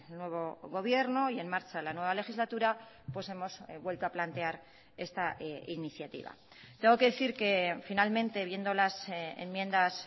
nuevo gobierno y en marcha la nueva legislatura hemos vuelto a plantear esta iniciativa tengo que decir que finalmente viendo las enmiendas